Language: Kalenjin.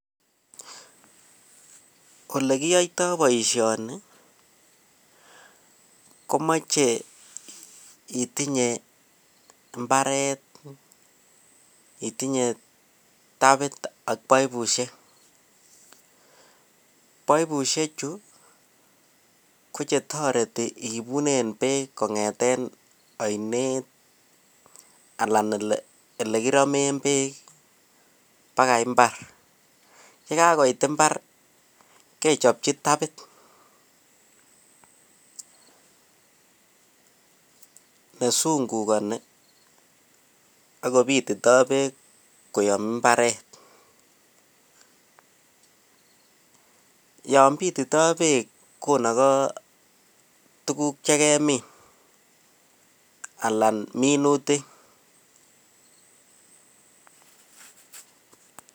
Olekiyoito boishoni komoche itinye imbareti itinye tapit ak baibushek, baibushek chuu ko chetoreti ibunen beek kongeten oinet anan ole kiromen beek pakai imbar yekakoit imbar kechopji tapit, nesunkukoni ak kopitito beek koyom imbaret yon Pitito beek konoko tukuk chekemin alak minutik.